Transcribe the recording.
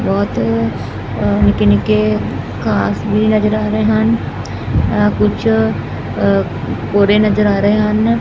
ਬਹੁਤ ਨਿੱਕੇ ਨਿੱਕੇ ਘਾਸ ਵੀ ਨਜਰ ਆ ਰਹੇ ਹਨ ਕੁਛ ਭੂਰੇ ਨਜਰ ਆ ਰਹੇ ਹਨ।